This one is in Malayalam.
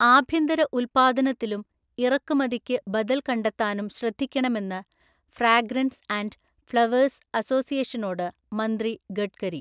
ആഭ്യന്തരഉല്പ്പാദനത്തിലും ഇറക്കുമതിക്കു ബദല്‍ കണ്ടെത്താനും ശ്രദ്ധിക്കണമെന്ന് ഫ്രാഗ്രന്സ് ആന്ഡ് ഫ്ളേവേഴ്സ് അസോസിയേഷനോട് മന്ത്രി ഗഡ്കരി